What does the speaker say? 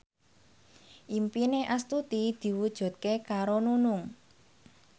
impine Astuti diwujudke karo Nunung